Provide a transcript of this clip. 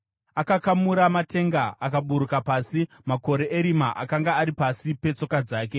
Akakamura matenga akaburuka pasi; makore erima akanga ari pasi petsoka dzake.